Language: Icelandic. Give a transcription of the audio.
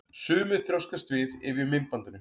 Sumir þrjóskast við yfir myndbandinu.